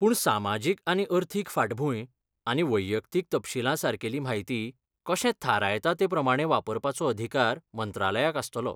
पूण सामाजीक आनी अर्थीक फांटभूंय आनी वैयक्तीक तपशीला सारकेली म्हायती कशें थारायता ते प्रमाणें वापरपाचो अधिकार मंत्रालयाक आसतलो.